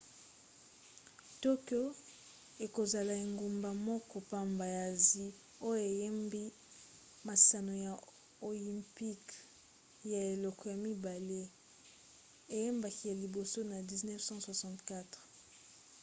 tokyo ekozala engumba moko pamba ya asie oyo eyambi masano ya oympique ya eleko ya mibale eyambaki ya liboso na 1964